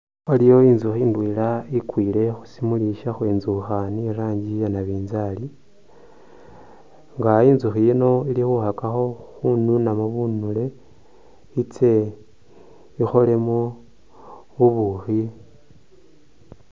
Waliwo intsukhi indwela ikwile khushimuli ishakhwenzukha ni rangi iya nabinzali nga intsukhi ino ili khukhakakho khununamo bunile itse ikholemo bubukhi.